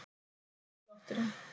Þetta er hjartslátturinn.